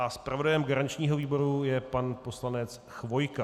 A zpravodajem garančního výboru je pan poslanec Chvojka.